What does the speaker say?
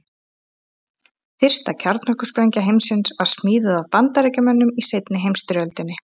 Fyrsta kjarnorkusprengja heimsins var smíðuð af Bandaríkjamönnum í seinni heimsstyrjöldinni.